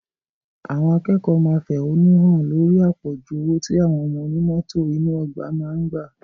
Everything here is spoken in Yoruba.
Àwọn akẹ́kọ̀ọ́ máa fẹ̀hánúhàn lórí àpọ̀jù owó tí àwọn oní mọ́tò inú ọgbà máa ń gbà